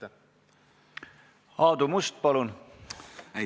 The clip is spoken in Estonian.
Aadu Must, palun!